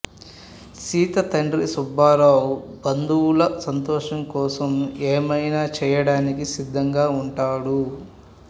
సీత తండ్రి సుబ్బారావు బంధువుల సంతోషం కోసం ఏమైనా చేయడానికి సిద్ధంగా ఉంటాడు